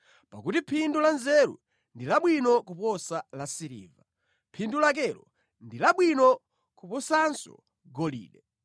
pakuti phindu la nzeru ndi labwino kuposa la siliva, phindu lakelo ndi labwino kuposanso golide.